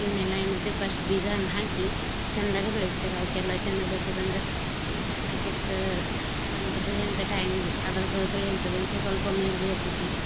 ಇವ್ನೆಲ್ಲಾ ಏನ್ಮಾಡ್ತೇವ್ರಿ first ಬೀಜಾನ್ಹಾಕಿ ಚೆಂದಾಗ ಬೆಳಸ್ತೇವ್ರಿ ಅವ್ಕೆಲ್ಲಾ ಚೆಂದಾಗ್ಬೆಳ್ನಸೋದಂದ್ರ ಬೀಜಾ ಹಾಕ್ ಅದ್ಕ ಅದಂತ್ ಬೆಳೆವಂತ time ಗೆ ಅದರ್ದ ಬೆಳೆಂತದು ಸೊಸೊಲ್ಪ ಮೇಲ್ ಏರ್ತತಿ.